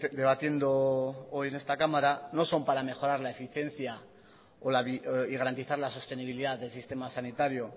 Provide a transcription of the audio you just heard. debatiendo hoy en esta cámara no son para mejorar la eficiencia y garantizar la sostenibilidad del sistema sanitario